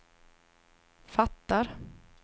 fattar